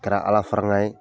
kɛra Ala farankan ye.